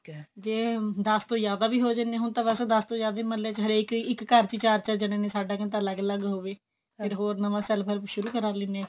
ਜੇ ਦਸ ਤੋਂ ਜਿਆਦਾਵੀ ਹੋ ਜਾਂਦੇ ਨੇ ਹੁਣ ਤਾਂ ਵੈਸੇ ਦਸ ਤੋਂ ਜਿਆਦਾ ਮਹਲੇ ਚ ਹਰੇਕ ਇੱਕ ਘਰ ਚ ਚਾਰ ਚਾਰ ਜਣੇ ਸਾਦਾ ਮਤਾ ਅਲੱਗ ਅਲੱਗ ਹੋਵੇ ਫੇਰ ਹੋਰ ਨਵਾ self help ਸ਼ੁਰੂ ਕਰਿਆ ਅਗਲੀ ਨੇ